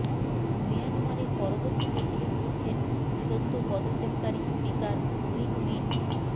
মিয়ানমারের পরবর্তী প্রেসিডেন্ট হচ্ছেন সদ্য পদত্যাগকারী স্পিকার উইন মিন্ট